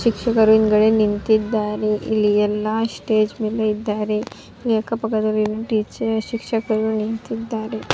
ಶಿಕ್ಷಕರು ಹಿಂದ್ಗಡೆ ನಿಂತಿದ್ದಾರೆ ಇಲ್ಲಿ ಎಲ್ಲ ಸ್ಟೇಜ್ ಮೇಲೆ ಇದ್ದಾರೆ ಇಲ್ಲಿ ಅಕ್ಕ ಪಕ್ಕ ದಲ್ಲಿ ಟೀಚರ್ ಶಿಕ್ಷಕರು ನಿಂತಿದ್ದಾರೆ.